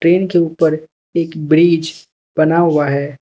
Train के ऊपर एक ब्रिज बना हुआ है।